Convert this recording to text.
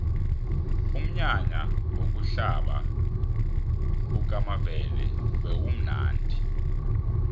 umnyanya wokuhlaba kukamavela bewumnadi